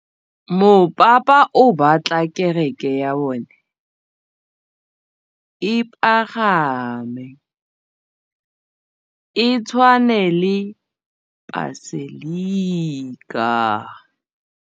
Mopapa o batla kereke ya bone e pagame, e tshwane le paselika.